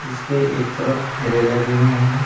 इसके एक तरफ ठेले लगे हुए हैं।